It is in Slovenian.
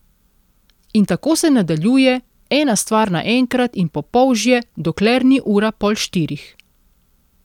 In tako se nadaljuje, ena stvar naenkrat in po polžje, dokler ni ura pol štirih.